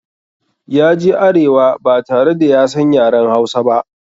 Ya je arewa ba tare da ya san yaren Hausa ba.